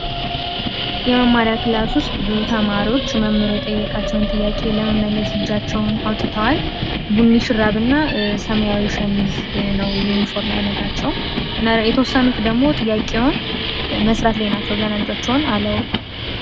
የመማሪያ ክላስ ውስጥ ብዙ ተማሪዎች መምህራቸው የጠየቃቸውን ጥያቄ ለመመለስ እጃቸውን አውጥተዋል። ቡኒ ሹራብ እና ሰማያዊ ሸሚዝ ነው የዩኒፎርም አይነታቸው። የተወሰኑት ደግሞ ጥያቄውን መስራት ላይ ናቸው ገና እጃቸውን አላወጡም።